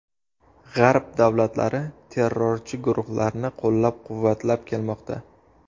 G‘arb davlatlari terrorchi guruhlarni qo‘llab-quvvatlab kelmoqda.